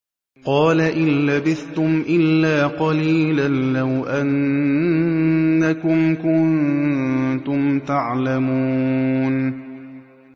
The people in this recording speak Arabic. قَالَ إِن لَّبِثْتُمْ إِلَّا قَلِيلًا ۖ لَّوْ أَنَّكُمْ كُنتُمْ تَعْلَمُونَ